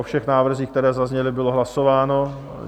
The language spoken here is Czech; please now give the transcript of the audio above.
O všech návrzích, které zazněly, bylo hlasováno?